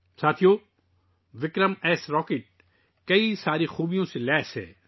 دوستو، ' وکرمایس ' راکٹ بہت سی خصوصیات سے لیس ہے